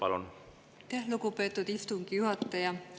Aitäh, lugupeetud istungi juhataja!